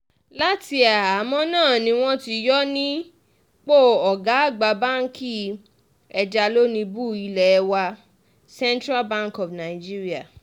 láti àhámọ́ náà ni wọ́n ti yọ ọ́ nípò ọ̀gá àgbà báǹkì ẹjalónìbù ilé wa central bank of nigeria